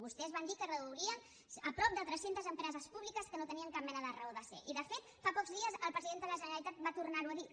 vostès van dir que es reduirien prop de tres centes empreses públiques que no tenien cap mena de raó de ser i de fet fa pocs dies el president de la generalitat va tornar ho a dir